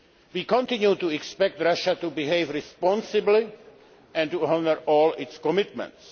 We continue to expect Russia to behave responsibly and to honour all its commitments.